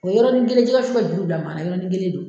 O yɔrɔnin kelen jɛgɛ wusu bɛ juru bila maa la yɔrɔnin kelen de.